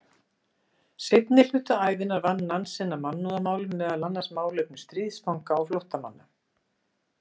Seinni hluta ævinnar vann Nansen að mannúðarmálum, meðal annars málefnum stríðsfanga og flóttamanna.